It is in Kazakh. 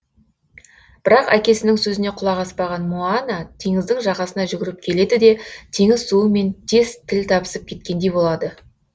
бірақ әкесінің сөзіне құлақ аспаған моана теңіздің жағасына жүгіріп келеді де теңіз суы мен тез тіл табысып кеткендей болады